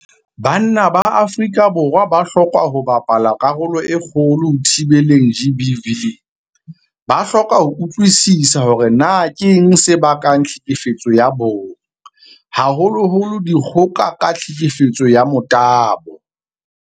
Banna ba Afrika Borwa ba hloka ho bapala karolo e kgolo ho thibeleng GBV. Ba hloka ho utlwisisa hore na keng se bakang tlhekefetso ya bong, haholoholo dikgoka ka tlhekefetso ya motabo.